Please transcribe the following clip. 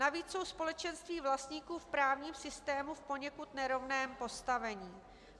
Navíc jsou společenství vlastníků v právním systému v poněkud nerovném postavení.